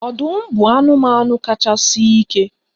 Ọdụm bụ anụmanụ kacha sie ike